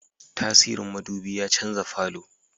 Tasirin Mudubi ya canza falo